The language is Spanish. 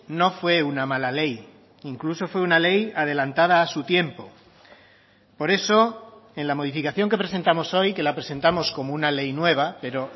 no fue una mala ley incluso fue una ley adelantada a su tiempo por eso en la modificación que presentamos hoy que la presentamos como una ley nueva pero